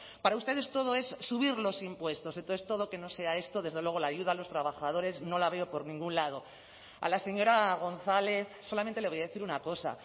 para ustedes todo es subir los impuestos entonces todo que no sea esto desde luego la ayuda a los trabajadores no la veo por ningún lado a la señora gonzález solamente le voy a decir una cosa